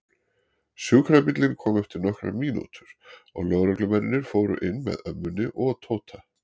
Sjúkrabíllinn kom eftir nokkrar mínútur og lögreglumennirnir fóru inn með ömmunni og Tóta.